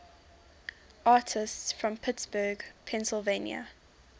artists from pittsburgh pennsylvania